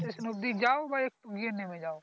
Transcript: অব্দি যাও বা একটু গিয়ে নেমে যাও